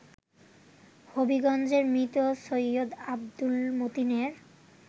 হবিগঞ্জের মৃত সৈয়দ আব্দুল মতিনের